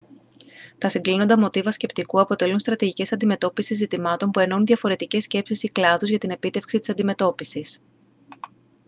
τα συγκλίνοντα μοτίβα σκεπτικού αποτελούν στρατηγικές αντιμετώπισης ζητημάτων που ενώνουν διαφορετικές σκέψεις ή κλάδους για την επίτευξη της αντιμετώπισης